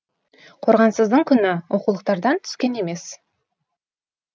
қорғансыздың күні оқулықтардан түскен емес